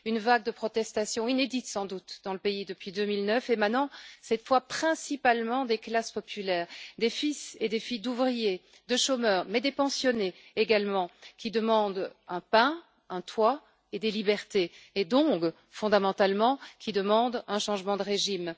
Une vague de protestation inédite, sans doute, dans le pays depuis 2009, émanant cette fois principalement des classes populaires, des fils et des filles d'ouvriers, des chômeurs, mais aussi des pensionnés qui demandent du pain, un toit et des libertés, et donc, fondamentalement, qui exigent un changement de régime.